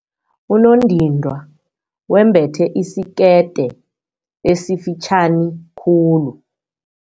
Unondindwa wembethe isikete esifitjhani khulu.